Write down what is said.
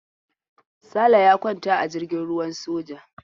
Sale ya kwanta a jirgin ruwan soja.